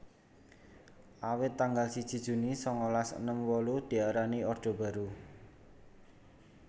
Awit tanggal siji Juni sangalas enem wolu diarani Orde Baru